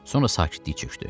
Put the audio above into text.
Sonra sakitlik çökdü.